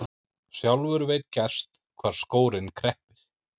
Sjálfur veit gerst hvar skórinn kreppir.